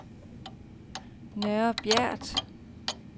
Nørre Bjert